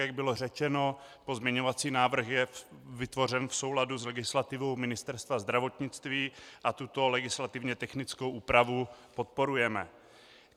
Jak bylo řečeno, pozměňovací návrh je vytvořen v souladu s legislativou Ministerstva zdravotnictví a tuto legislativně technickou úpravu podporujeme.